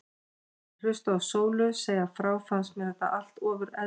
Meðan ég hlustaði á Sólu segja frá fannst mér þetta allt ofur eðlilegt.